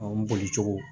O boli cogo